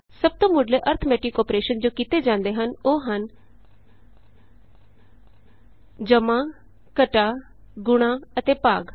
ਸਭ ਤੋਂ ਮੁੱਢਲੇ ਅਰਥਮੈਟਿਕ ਅੋਪਰੈਸ਼ਨ ਜੋ ਕੀਤੇ ਜਾਂਦੇ ਹਨ ਉਹ ਹਨ ਜਮਾ ਘਟਾ ਗੁਣਾ ਅਤੇ ਭਾਗ